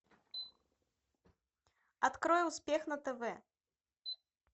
открой успех на тв